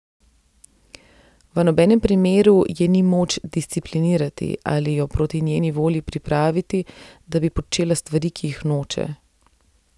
V nobenem primeru je ni moč disciplinirati ali jo proti njeni volji pripraviti, da bi počela stvari, ki jih noče.